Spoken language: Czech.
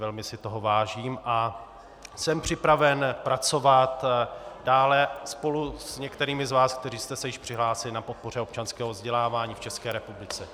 Velmi si toho vážím a jsem připraven pracovat dále spolu s některými z vás, kteří jste se již přihlásili, na podpoře občanského vzdělávání v České republice.